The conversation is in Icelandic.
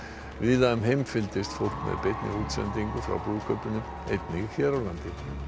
víða um heim fylgdist fólk með beinni útsendingu frá brúðkaupinu einnig hér á landi